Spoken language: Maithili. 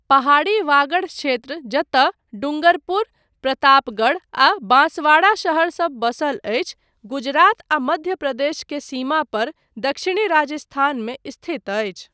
पहाड़ी वागड़ क्षेत्र जतय डूंगरपुर, प्रतापगढ़ आ बांसवाड़ा शहरसब बसल अछि, गुजरात आ मध्य प्रदेश के सीमा पर दक्षिणी राजस्थानमे स्थित अछि।